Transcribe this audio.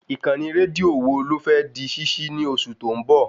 Ìkànnì rédíò wo ló fẹ́ di ṣíṣí ní oṣù tó ń bọ̀?